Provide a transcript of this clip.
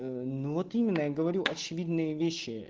ну вот именно я говорю очевидные вещи